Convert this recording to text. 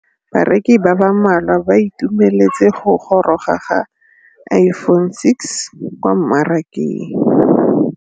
Bareki ba ba malwa ba ituemeletse go gôrôga ga Iphone6 kwa mmarakeng.